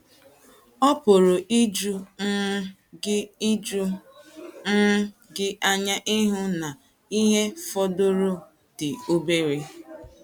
Ọ pụrụ iju um gị iju um gị anya ịhụ na ihe fọdụrụnụ dị obere.